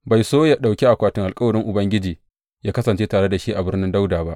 Bai so yă ɗauki akwatin alkawarin Ubangiji yă kasance tare da shi a Birnin Dawuda ba.